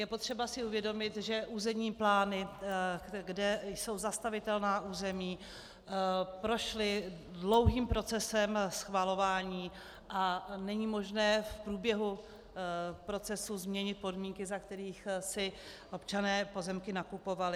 Je potřeba si uvědomit, že územní plány, kde jsou zastavitelná území, prošly dlouhým procesem schvalování a není možné v průběhu procesu změnit podmínky, za kterých si občané pozemky nakupovali.